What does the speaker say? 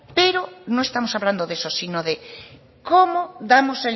pero no estamos hablando de eso sino de cómo damos